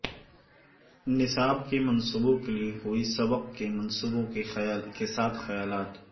نصاب کے منصوبوں کے لئے کوئی سبق کے منصوبوں کے ساتھ خیالات